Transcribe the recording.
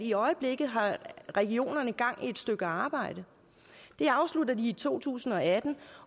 i øjeblikket har regionerne gang i et stykke arbejde det afslutter de i to tusind og atten